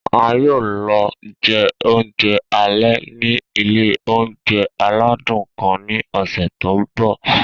A yoo lọ jẹ ounjẹ alẹ ni ile ounjẹ aladun kan ni ọsẹ to nbọ.